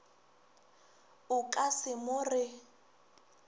o ka se mo re